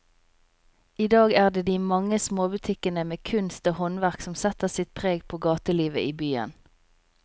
I dag er det de mange små butikkene med kunst og håndverk som setter sitt preg på gatelivet i byen.